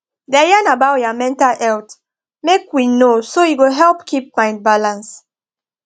da yan about your mental healt make we know so e go help keep mind balance